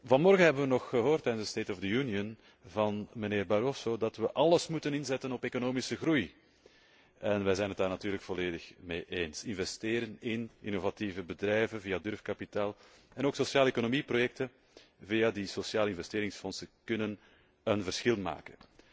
Vanmorgen hebben wij nog gehoord in de State of the Union van mijnheer Barroso dat wij alles moeten inzetten op economische groei. Wij zijn het daar natuurlijk volledig mee eens. Investeren in innovatieve bedrijven via durfkapitaal en ook sociale economieprojecten via die sociale investeringsfondsen kunnen een verschil maken.